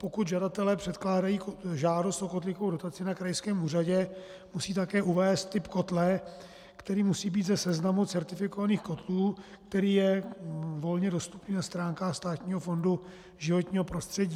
Pokud žadatelé předkládají žádost o kotlíkovou dotaci na krajském úřadě, musí také uvést typ kotle, který musí být ze seznamu certifikovaných kotlů, který je volně dostupný na stránkách Státního fondu životního prostředí.